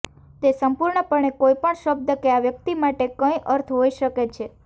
તે સંપૂર્ણપણે કોઈપણ શબ્દ કે આ વ્યક્તિ માટે કંઈક અર્થ હોઈ શકે છે